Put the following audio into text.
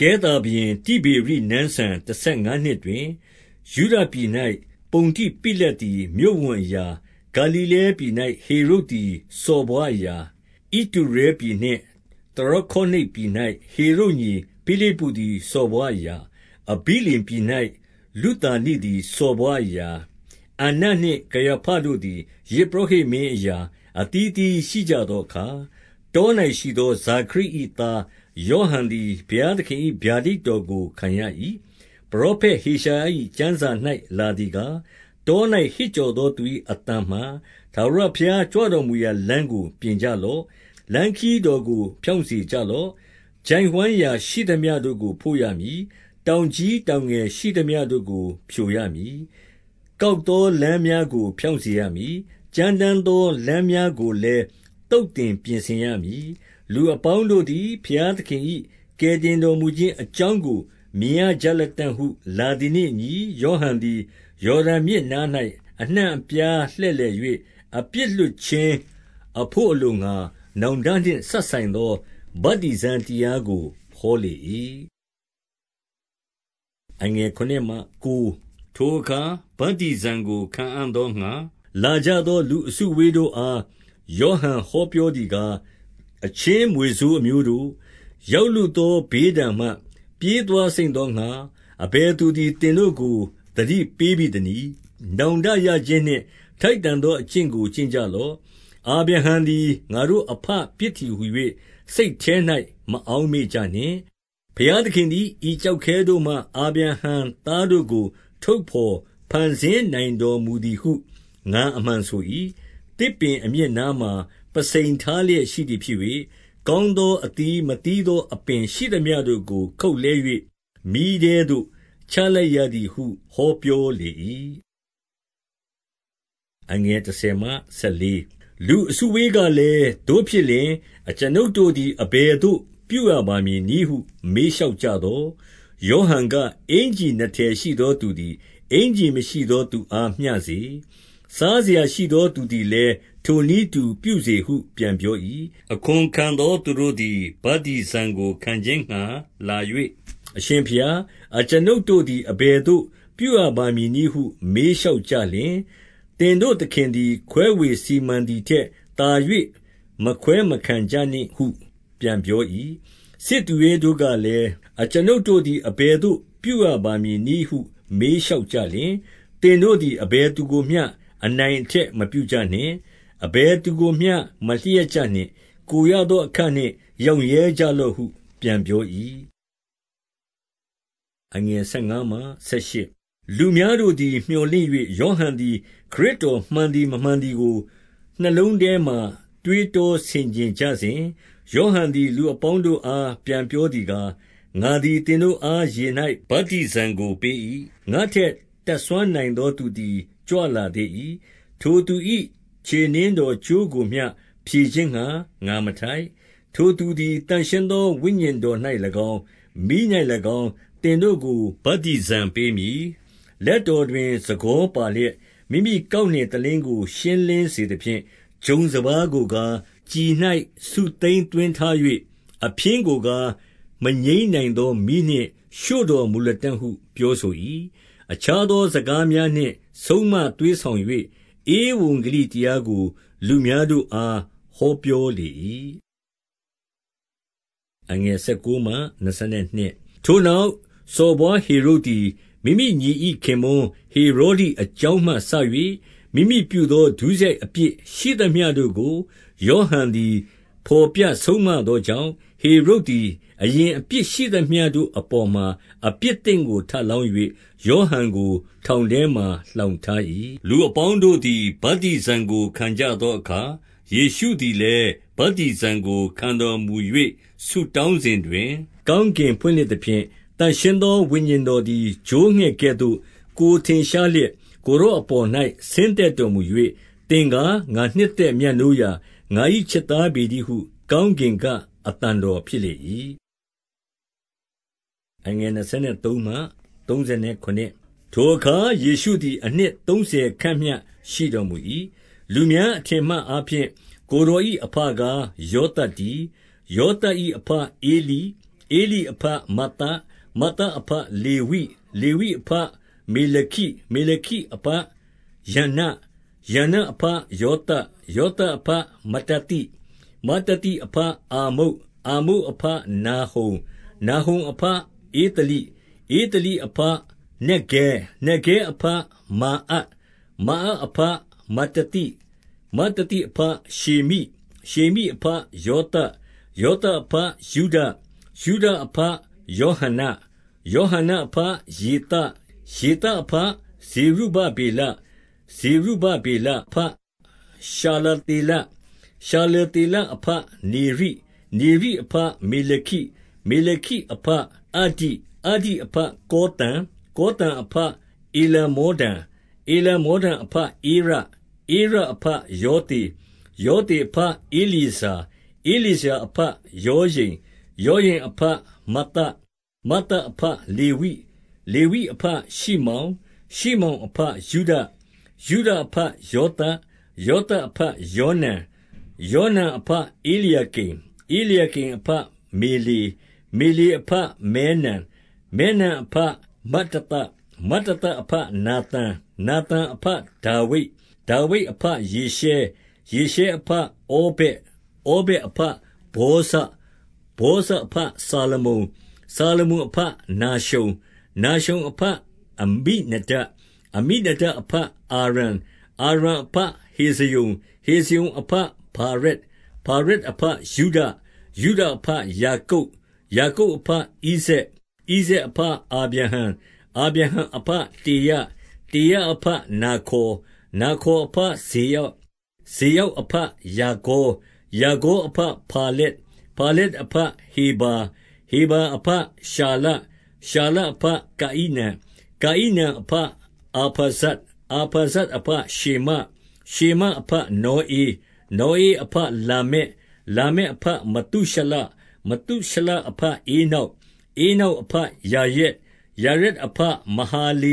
ကဲသာဘုရင် တိဗေရိနန်းစံတဆယ်ငါးနှစ်တွင်၊ ယုဒပြည်၌ ပုန္တိပိလတ်သည်မြို့ဝန်အရာ၊ ဂါလိလဲပြည်၌ ဟေရုဒ်သည် စော်ဘွားအရာ၊ ဣတုရဲပြည်နှင့် တရာခေါနိပြည်၌ ဟေရုဒ်ညီဖိလိပ္ပုသည် စော်ဘွားအရာ၊ အဘိလင်ပြည်၌ လုသာနိသည် စောဘွားအရာ၊ 2 အန္နနှင့်ကယာဖတို့သည် ယဇ်ပုရောဟိတ်မင်းအရာ၊ အသီးအသီးရှိကြသောအခါ၊ တော၌ရှိသော ဇာခရိ၏သားယောဟန်သည် ဘုရားသခင်၏ ဗျာဒိတ်တော်ကို ခံရ၏။ 3 ပရောဖက်ဟေရှာယ၏ ကျမ်းစာ၌လာသည်ကား၊ တော၌ဟစ်ကြော်သောသူ၏အသံမှာ၊ ထာဝရ ဘုရားကြွတော်မူရာလမ်းကို ပြင်ကြလော့။ 4 လမ်းခရီးတော်ကို ဖြောင့်စေကြလော့။ ချိုင့်ဝှမ်းရာရှိသမျှတို့ကို ဖို့ရ မည်။ တောင်ကြီးတောင်ငယ် ရှိသမျှတို့ကို ဖြိုရမည်။ ကောက်သောလမ်းများကို ဖြောင့်စေရမည်။ 5 ကြမ်းတမ်း သောလမ်းများကိုလည်း သုတ်သင်ပြင်ဆင်ရမည်။ 6 လူအပေါင်းတို့သည် ဘုရားသခင်၏ ကယ်တင်တော်မူခြင်း အကြောင်းကို မြင်ရကြလတံ့ဟု လာသည်နှင့်အညီ၊ ယောဟန်သည် ယော်ဒန်မြစ်နား၌ အနှံ့အပြားလှည့် လည်၍ အပြစ်လွှတ်ခြင်းအဘို့အလိုငှါ နောင်တနှင့် စပ်ဆိုင်သော ဗတ္တိဇံတရားကို ဟောလေ၏။ 7 ထိုအခါ၊ ဗတ္တိဇံကို ခံအံ့သောငှါလာကြသော လူအစုအဝေးတို့အား ယောဟန်ဟောပြောသည်ကား၊ အချင်းမြွေဆိုးအမျိုးတို့၊ ရောက်လုသောဘေးဒဏ်မှ ပြေးသွားစိမ့်သောငှါ အဘယ်သူသည် သင်တို့ကို သတိ ပေးဘိသနည်း။ 8 နောင်တရခြင်းနှင့် ထိုက်တန်သောအကျင့်ကို ကျင့်ကြလော့။ အာဗြဟံသည် ငါတို့အဘဖြစ်သည်ဟူ၍ စိတ်ထဲ၌ မအောက်မေ့ကြနှင့်။ ဘုရားသခင်သည် ဤ ကျောက်ခဲတို့မှ အာဗြဟံသားတို့ကိုထုတ်ဘော် ဖန်ဆင်း နိုင်တော်မူသည်ဟု ငါအမှန်ဆို၏။ 9 သစ်ပင်အမြစ်နားမှာ ပုဆိန်ထားလျက်ရှိသည် ဖြစ်၍၊ ကောင်းသောအသီးမသီးသောအပင်ရှိသမျှတို့ကို ခုတ်လှဲ၍ မီးထဲသို့ ချလိုက်ရသည်ဟု ဟောပြောလေ၏။ 10 လူအစုအဝေးကလည်း၊ သို့ဖြစ်လျှင် အကျွန်ုပ်တို့သည် အဘယ်သို့ပြုရပါမည်နည်းဟု မေးလျှောက်ကြ သော်၊ 11 ယောဟန်က၊ အင်္ကျီနှစ်ထည်ရှိသောသူသည် အင်္ကျီမရှိသောသူအား မျှစေ။ စားစရာရှိသောသူသည် လည်း ထိုနည်းတူပြုစေဟု ပြန်ပြော၏။ 12 အခွန်ခံသူတို့သည် ဗတ္တိဇံကို ခံခြင်းငှါလာ၍၊ အရှင်ဘုရား၊ အကျွန်ုပ်တို့သည် အဘယ်သို့ ပြုရပါမည် နည်းဟု မေးလျှောက်ကြလျှင်၊ 13 သတို့သခင်သည် ခွဲဝေစီမံသည်ထက်သာ၍ မခွဲမခံကြနှင့်ဟု ပြန်ပြော၏။ 14 စစ်သူရဲတို့ကလည်း အကျွန်ုပ်တို့သည် အဘယ်သို့ပြုရပါမည်နည်းဟု မေးလျှောက်ကြလျှင်၊ သင်တို့ သည် အဘယ်သူကိုမျှ အနိုင်အထက်မပြုကြနှင့်။ အဘယ်သူကိုမျှ မလျှပ်ကြနှင့်။ ကိုယ်ရသောအခနှင့် ရောင့်ရဲကြလော့ဟု ပြန်ပြော၏။ 15 လူအများတို့သည် မြော်လင့်၍၊ ယောဟန်သည် ခရစ်တော်မှန်သည်မမှန်သည်ကို နှလုံးထဲမှာ တွေး တောဆင်ခြင်ကြစဉ်၊ 16 ယောဟန်သည် လူအပေါင်းတို့အား ပြန်ပြောသည်ကား၊ ငါသည်သင်တို့အား ရေ၌ ဗတ္တိဇံကိုပေး၏။ ငါ့ထက်တတ်စွမ်းနိုင်သောသူသည် ကြွလာသေး၏။ ထိုသူ၏ခြေတော်ကြိုးကိုမျှ ဖြည်ခြင်းငှါ ငါမထိုက်။ ထို သူသည် သန့်ရှင်းသောဝိညာဉ်တော်၌၎င်း၊ မီး၌၎င်း သင်တို့ကိုဗတ္တဇံကိုပေးမည်။ 17 လက်တော်တွင် စံကောပါလျက် မိမိကောက် နယ်တလင်းကို ရှင်းလင်းစေသဖြင့်၊ ဂျုံစပါးကိုကား ကျီ၌ စုသိမ်းသွင်းထား၍၊ အဖျင်းကိုကား မငြိမ်းနိုင်သောမီးနှင့် ရှို့တော်မူလတံ့ဟု ပြောဆို၏။ 18 အခြားသောစကားများနှင့် ဆုံးမသွေးဆောင်၍ ဧဝံဂေလိတရားကို လူအများတို့အား ဟောပြော လေ၏။ 19 ထိုနောက် စော်ဘွားဟေရုဒ်သည် မိမိညီ၏ ခင်ပွန်းဟေရောဒိအကြောင်းမှစ၍၊ မိမိပြုသောဒုစရိုက် အပြစ်ရှိသမျှတို့ကို ယောဟန်သည် ဘော်ပြဆုံးမသောကြောင့်၊ 20 ဟေရုဒ်သည် အရင်အပြစ်ရှိသမျှတို့အပေါ်မှာ ပြစ်သစ်ကိုထပ်လောင်း၍ ယောဟန်ကို ထောင်ထဲမှာ လှောင်ထား၏။ 21 လူအပေါင်းတို့သည် ဗတ္တိဇံကိုခံကြသောအခါ၊ ယေရှုသည်လည်း ဗတ္တိဇံကိုခံတော်မူ၍ ဆုတောင်းစဉ် တွင်၊ ကောင်းကင်ဖွင့်လှစ်သဖြင့်၊ 22 သန့်ရှင်းသောဝိညာဉ်တော်သည် ချိုးငှက်ကဲ့သို့ ကိုယ်ထင်ရှားလျက် ကိုယ်တော်ပေါ်၌ ဆင်းသက်တော် မူ၍၊ သင်ကား၊ ငါနှစ်သက်မြတ်နိုးရာ၊ ငါ၏ချစ်သားပေတည်းဟု ကောင်းကင်က အသံတော်ဖြစ်လေ၏။ 23 ထိုအခါ ယေရှုသည် အနှစ်သုံးဆယ်ခန့်မျှရှိတော်မူ၏။ လူများအထင်အမှတ်အားဖြင့် ကိုယ်တော်၏ အဘကား ယောသပ်တည်း။ ယောသပ်အဘဧလိ၊ 24 ဧလိအဘ မဿတ်၊ မဿတ်အဘ လေဝိ။ လေဝိအဘ မေလခိ၊ ပေလခိဘ ယန္န၊ ယန္နအဘ ယောသပ်၊ 25 ယောသပ်အဘ မတ္တသိ၊ မတ္တသိအဘ အာမုတ်၊ အာမုတ်အဘ နာဟုံ၊ နာဟုံအဘ ဧသလိ၊ 26 ဧသလိအဘနဂ္ဂဲ၊ နဂ္ဂဲအဘ မာအတ်၊ မာအတ်အဘ မတ္တသိ၊ မတ္တသိအဘ ရှေမိ၊ ရှေမိအဘ ယောသပ်၊ ယောသပ်အဘ ယုဒ၊ ယုဒအဘယေဟန္န၊ 27 ယောဟန္နအဘ ရေသ၊ ရေသအဘ ဇေရု ဗဗေလ၊ ဇေရုဗဗေလအဘ ရှာလသေလ၊ ရှာလသေလ အဘ နေရိ၊ နေရိအဘ မေလခိ၊ မေလခိအဘ အဒ္ဒိ၊ 28 အဒ္ဒိအဘကောသံ၊ ကောသံအဘ ဧလမောဒံ၊ ဧလမောဒံအဘ ဧရ၊ 29 ဧရအဘ ယောသေ၊ ယောသေအဘဧလျေဇာ၊ ဧလျေဇာအဘ ယောရိမ်၊ ယောရိမ်အဘမဿတ်၊ မဿတ်အဘလေဝိ၊ 30 လေဝိအဘရှိမောင်၊ ရှိမောင်အဘယုဒ၊ ယုဒ အဘယောသပ်၊ ယောသပ် အဘယောနန်၊ ယောနန်အဘ ဧလျောတိမ်၊ ဧလျာကိမ် အဘမေလေ၊ 31 မေလေအဘမဲနန်၊ မဲနန်အဘမတ္တသ၊ မတ္တသ အဘနာသန်၊ နာသန့်အဘဒါဝိဒ်၊ 32 ဒါဝိဒ်အဘယေရှဲ၊ ယေရှဲ အဘဩဗက်၊ ဩဇက် အာဘဗောဇ၊ ဗောဇအဘစာလမုန်၊ စာလမုန်အဘ နာရှန်၊ 33 နာရှုန်အဘအမိနဒဝ်၊ အမိနဒဝ်အဘအာရံ၊ အာရံအဘဟေဇရုံ၊ ဟေဇရုံအဘဖာရက်၊ ဖာရက် အဘယုဒ၊ 34 ယုဒအဘ ယာကုပ်၊ ယာကုပ်အဘ ဣဇာက်၊ ဣဇာက်အဘအာဗြဟံ၊ အာဗြဟံအဘတေရ၊ တေရအဘ နာခေါ်၊ 35 နာခေါ်အဘစေရောက်၊ စေရောက်အဘ ရာဂေါ၊ ရာဂေါအဘဖာလက်၊ ဖာလက်အဘ ဟေဗာ၊ ဟေဗာအဘ ရှာလ၊ 36 ရှာလအဘ ကာဣနန်၊ ကာဣနန်အဘ အာဖာဇဒ်၊ အာဖာဇဒ်အဘ ရှေမ၊ ရှေမအဘနောဧ၊ နောဧအဘလာမက်၊ 37 လာမက်အဘ မသုရှလ၊ မသုရှလအဘ ဧနောက်၊ ဧနောက်အဘယာရက်၊ ယာရက်အဘ မဟာ လ